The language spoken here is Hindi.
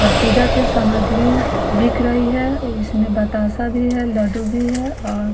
और पूजा की सामग्री बिक रही है इसमें बताशा भी है लड्डू भी है और --